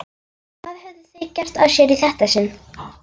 Hvað höfðu þau gert af sér í þetta sinn?